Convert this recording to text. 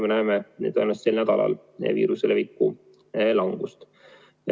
Me näeme sellel nädalal viiruse leviku langust.